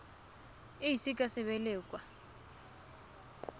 e ise ka sebele kwa